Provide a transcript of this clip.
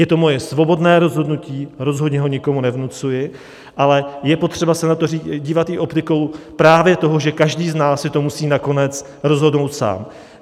Je to moje svobodné rozhodnutí, rozhodně ho nikomu nevnucuji, ale je potřeba se na to dívat i optikou právě toho, že každý z nás si to musí nakonec rozhodnout sám.